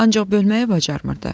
Ancaq bölməyi bacarmırdı.